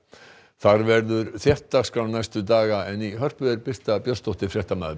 þar verður þétt dagskrá næstu daga en í Hörpu er Birta Björnsdóttir fréttamaður